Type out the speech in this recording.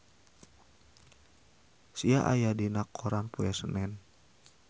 Sia aya dina koran poe Senen